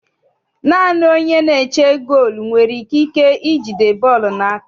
Naanị onye na-eche goolu nwere ikike ijide bọọlụ n'aka.